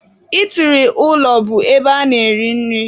Itiri ụlọ bụ ebe a na-eri nri.